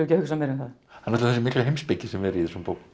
að hugsa meira um það það er þessi mikla heimspeki sem er í þessum bókum